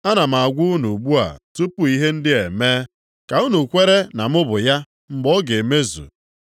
“Ana m agwa unu ugbu a tupu ihe ndị a emee, ka unu kwere na mụ bụ ya mgbe ọ ga-emezu.